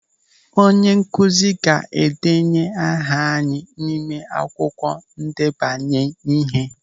Onyenkụzi ga-edenye aha anyị n'ime akwụkwọ ndebanye ihe.